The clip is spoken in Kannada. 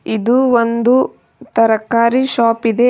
ಇದು ಒಂದು ತರಕಾರಿ ಶಾಪ್ ಇದೆ.